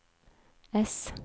ess